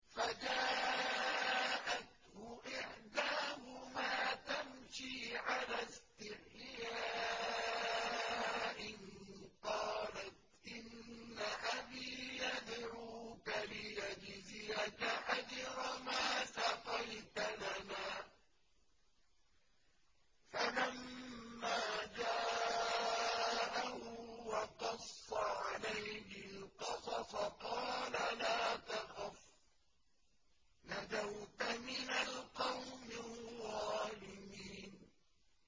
فَجَاءَتْهُ إِحْدَاهُمَا تَمْشِي عَلَى اسْتِحْيَاءٍ قَالَتْ إِنَّ أَبِي يَدْعُوكَ لِيَجْزِيَكَ أَجْرَ مَا سَقَيْتَ لَنَا ۚ فَلَمَّا جَاءَهُ وَقَصَّ عَلَيْهِ الْقَصَصَ قَالَ لَا تَخَفْ ۖ نَجَوْتَ مِنَ الْقَوْمِ الظَّالِمِينَ